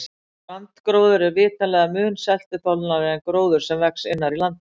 Strandgróður er vitanlega mun seltuþolnari en gróður sem vex innar í landinu.